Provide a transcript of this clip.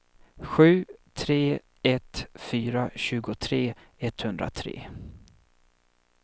sju tre ett fyra tjugotre etthundratre